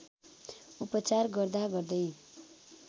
उपचार गर्दा गर्दै